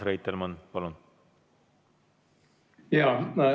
Urmas Reitelmann, palun!